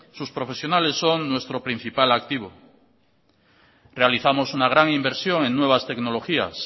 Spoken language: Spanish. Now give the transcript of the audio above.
sus profesionales son nuestro principal activo realizamos una gran inversión en nuevas tecnologías